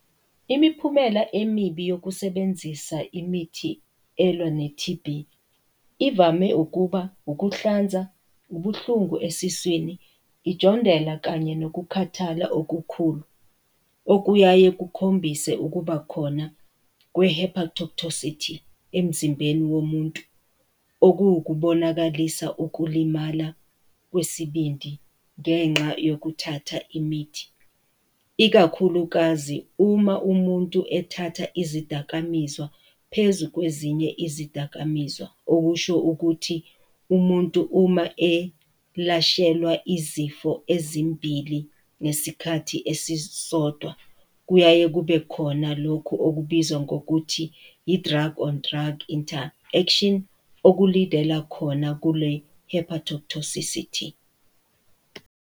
Imiphumela emibi yokusebenzisa imithi elwa ne-T_B, ivame ukuba ukuhlanza, ubuhlungu esiswini, , kanye nokukhathala okukhulu, okuyaye kukhombise ukuba khona kwe-Hepatotoxicity emzimbeni womuntu, okuwu ukubonakalisa ukulimala kwesibindi ngenxa yokuthatha imithi, ikakhulukazi uma umuntu ethatha izidakamizwa phezu kwezinye izidakamizwa, okusho ukuthi umuntu uma elashelwa izifo ezimbili ngesikhathi esisodwa kuyaye kube khona lokhu okubizwa ngokuthi yi-drug on drug interaction oku-lead-ela khona kule-Hepatotoxicity.